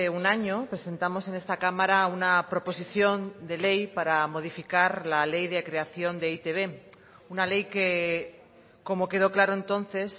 un año presentamos en esta cámara una proposición de ley para modificar la ley de creación de e i te be una ley que como quedó claro entonces